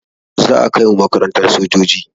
Za a kai mu makarantan sojoji